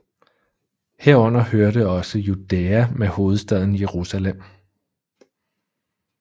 Herunder hørte også Judæa med hovedstaden Jerusalem